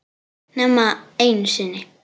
Nema einu sinni.